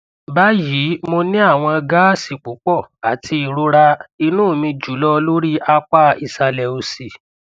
bayii mo ni awọn gaasi pupọ ati irora inu mi julọ lori apa isalẹ osi